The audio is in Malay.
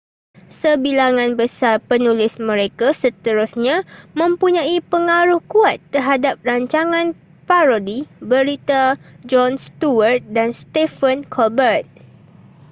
sebilangan besar penulis mereka seterusnya mempunyai pengaruh kuat terhadap rancangan parodi berita jon stewart dan stephen colbert